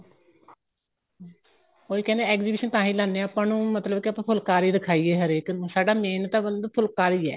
ਉਹੀ ਕਹਿੰਦੇ exhibition ਤਾਂਹੀ ਲਾਣੇ ਆ ਆਪਾਂ ਉਹਨੂੰ ਮਤਲਬ ਕੀ ਫੁਲਕਾਰੀ ਦਿਖਾਈਏ ਹਰੇਕ ਨੂੰ ਸਾਡਾ main ਤਾਂ ਮਤਲਬ ਫੁਲਕਾਰੀ ਏ